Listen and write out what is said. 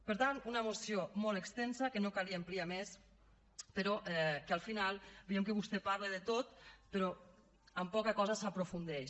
per tant una moció molt extensa que no calia ampliar més però en què al final veiem que vostè parla de tot però en poca cosa s’aprofundeix